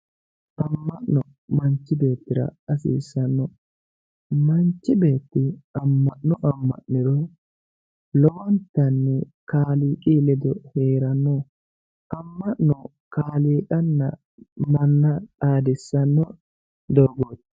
Ama'no manchi beettira hasiisano, manchi beetti ama'no ama'niro lowontanni kaaliiqi ledo heerano, ama'no kaaliiqanna manna xaadissano doogoti.